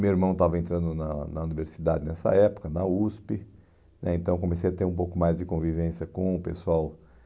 Meu irmão estava entrando na na universidade nessa época, na USP, né então comecei a ter um pouco mais de convivência com o pessoal